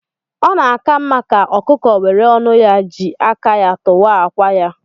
Ọ na-aka mma ka ọkụkọ were ọnu ya jị aka ya tuwaa akwa ya.